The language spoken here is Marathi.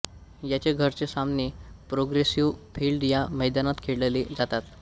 याचे घरचे सामने प्रोग्रेसिव्ह फील्ड या मैदानात खेळले जातात